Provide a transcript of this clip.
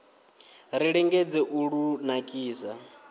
ri lingedze u lu nakisa